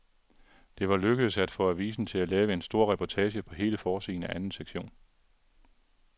Det var lykkedes at få avisen til at lave en stor reportage på hele forsiden af anden sektion.